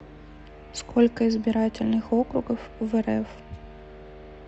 сколько избирательных округов в рф